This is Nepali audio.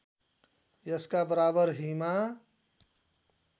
यसका बराबर हीमा